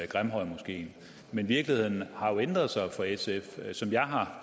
grimhøjmoskeen men virkeligheden har jo ændret sig for sf som jeg har